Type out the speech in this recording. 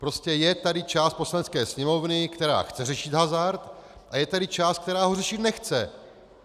Prostě je tu část Poslanecké sněmovny, která chce řešit hazard, a je tady část, která ho řešit nechce.